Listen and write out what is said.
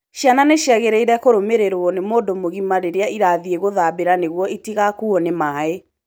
Ciana nĩ ciagĩrĩire kũrũmĩrĩrũo nĩ mũndũ mũgima rĩrĩa irathiĩ gũthambĩra nĩguo itigakuũo ni maai